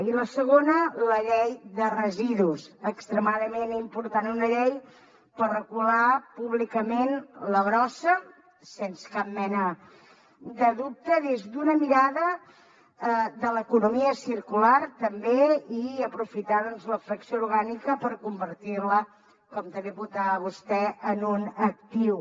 i la segona la llei de residus extremadament important una llei per regular públicament la brossa sense cap mena de dubte des d’una mirada de l’economia circular també i aprofitar doncs la fracció orgànica per convertir la com també apuntava vostè en un actiu